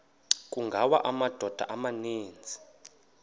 kungawa amadoda amaninzi